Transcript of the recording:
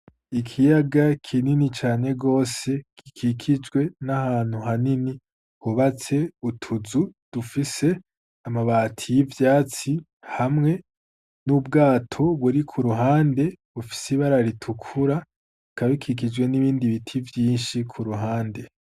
Ikiyaga kinini cane gose gikikijwe n'ahantu hanini hubatse utuzu dufise amabati y'ivyatsi hamwe n'ubwato buri ku ruhande bufise ibara ritukura, bikaba bikikijwe n'ibindi biti vyinshi ku ruhande.